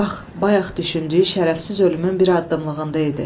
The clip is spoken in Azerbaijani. Bax bayaq düşündüyü şərəfsiz ölümün bir addımlığında idi.